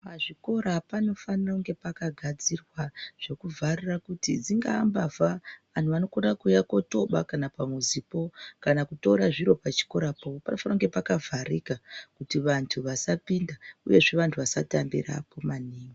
Pazvikora panofaira kunga pakagadzirwa zvekuvharira kuti dzingaa mbavha , vanhu vanokona kotoba kana pamuzipo kana kutora zviro pachikorapo panofanira kunge pakavharika kuti vantu vasapinda uyezve vasatambirapo maningi.